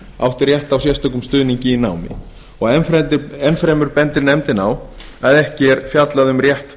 átt rétt á sérstökum stuðningi í námi enn fremur bendir nefndin á að ekki er fjallað um rétt